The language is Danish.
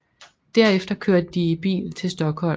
Derefter kørte de i bil til Stockholm